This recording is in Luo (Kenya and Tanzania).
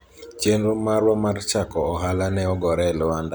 chenro marwa mar chako ohala ne ogore e lwanda